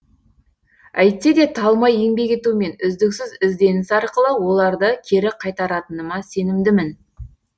әйтсе де талмай еңбек ету мен үздіксіз ізденіс арқылы оларды кері қайтаратыныма сенімдімін